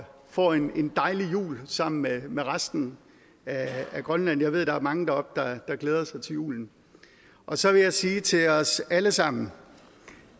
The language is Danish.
får en dejlig jul sammen med med resten af grønland jeg ved der er mange deroppe der glæder sig til julen så vil jeg sige til os alle sammen